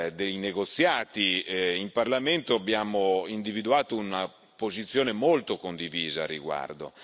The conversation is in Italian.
dei negoziati in Parlamento abbiamo individuato una posizione molto condivisa a riguardo.